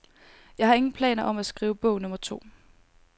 Jeg har ingen planer om at skrive bog nummer to.